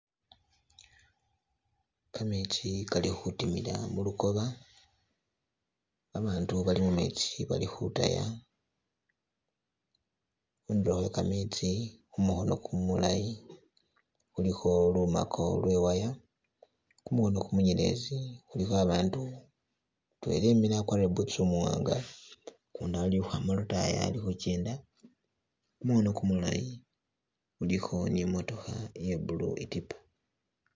Gametsi gali khudimila mulugoba, abantu Bali mumetsi bali khudaya khundulo khwe gametsi khumukono kumulayi khuliko lumago lwe wire khumukono munyelezi khuliko abandu mutwela emile agwarile bootusi umuwanga gundi ali khwama lodayi ali khugenda khumukono gumulayi kulikho ni mootokha iya blue itipa.